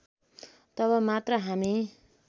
तब मात्र हामी